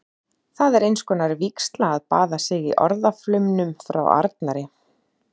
Það er einskonar vígsla að baða sig í orðaflaumnum frá arnari.